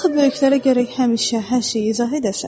Axı böyüklərə gərək həmişə hər şeyi izah edəsən.